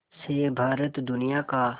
से भारत दुनिया का